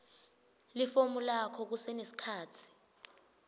lifomu lakho kusenesikhatsi